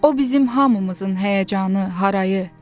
O bizim hamımızın həyəcanı, harayı.